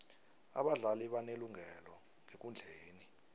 abadlali banelungelo ngekundleni